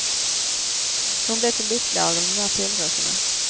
Hon blev så lyckig av dom där solrosorna.